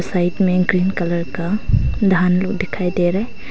Side में एक green colour का धान लोग दिखाई दे रहे है।